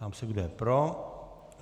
Ptám se, kdo je pro.